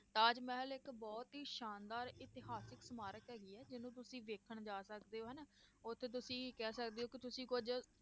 ਤਾਜ ਮਹਿਲ ਇੱਕ ਬਹੁਤ ਹੀ ਸ਼ਾਨਦਾਰ ਇਤਿਹਾਸਕ ਸਮਾਰਕ ਹੈਗੀ ਹੈ ਜਿਹਨੂੰ ਤੁਸੀਂ ਦੇਖਣ ਜਾ ਸਕਦੇ ਹੋ ਹਨਾ, ਉੱਥੇ ਤੁਸੀਂ ਕਹਿ ਸਕਦੇ ਹੋ ਕਿ ਤੁਸੀਂ ਕੁੱਝ